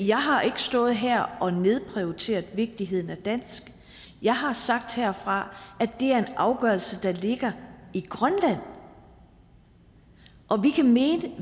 jeg har ikke stået her og nedprioriteret vigtigheden af dansk jeg har sagt herfra at det er en afgørelse der ligger i grønland og vi kan mene